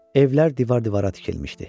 Evlər divar-divara tikilmişdi.